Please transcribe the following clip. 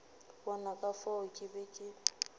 bona ka fao ke be